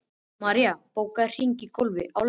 Marín, bókaðu hring í golf á laugardaginn.